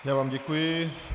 Já vám děkuji.